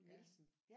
Ja